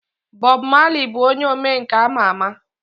Bob Marley bụ onye omenkà ama ama.